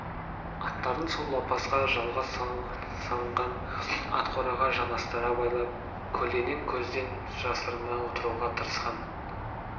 аттарын сол лапасқа жалғас салынған ат қораға жанастыра байлап көлденең көзден жасырына отыруға тырысқан